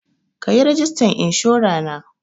Ka yi rajistan inshora na.